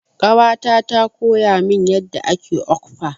Ƙawata ta koya min yadda ake okpa.